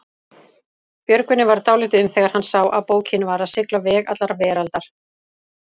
Björgvini varð dálítið um þegar hann sá að bókin var að sigla veg allrar veraldar.